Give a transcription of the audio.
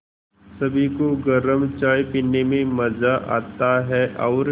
सभी को गरम चाय पीने में मज़ा आता है और